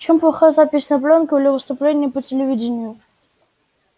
чем плоха запись на плёнку или выступление по телевидению